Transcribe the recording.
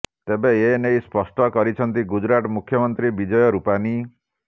ତେବେ ଏନେଇ ସ୍ପଷ୍ଟ କରିଛନ୍ତି ଗୁଜୁରାଟ ମୁଖ୍ୟମନ୍ତ୍ରୀ ବିଜୟ ରୁପାନି